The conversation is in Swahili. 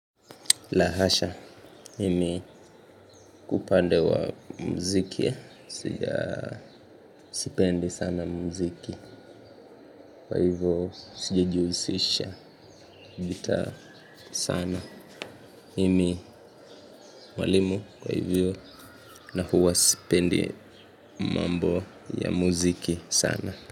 La hasha, mimi upande wa mziki sija sipendi sana mziki, kwa hivyo sijajihusisha nita sana, mimi mwalimu kwa hivyo na huwa sipendi mambo ya mziki sana.